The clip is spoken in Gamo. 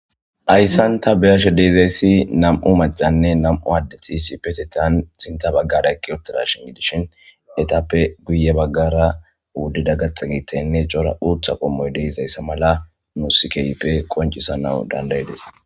Ayssanta beyashe deezayssi nam'u macanne nam'u aaddeti si petetan sinta baggara ekki uptirashin gidishin etappe guye baggara wuddida gatha giitenne cora uutha qommoy deezayssa mala muusikeyppe qoncisa nau dandayedeesa.